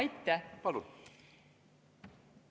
Aitäh!